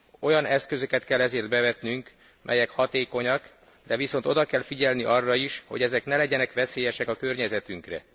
Olyan eszközöket kell ezért bevetnünk, melyek hatékonyak, de viszont oda kell figyelni arra is, hogy ezek ne legyenek veszélyesek a környezetünkre.